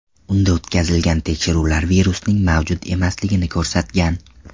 Unda o‘tkazilgan tekshiruvlar virusning mavjud emasligini ko‘rsatgan.